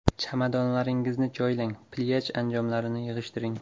Chamadonlaringizni joylang, plyaj anjomlarini yig‘ishtiring.